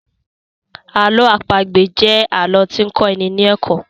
Àlọ àpagbè jẹ alọ ti n kọ́ ní ní ẹ̀kọ́